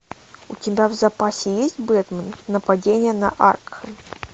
у тебя в запасе есть бэтмен нападение на аркхэм